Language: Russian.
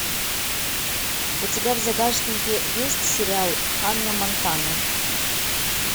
у тебя в загашнике есть сериал ханна монтана